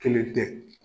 Kelen tɛ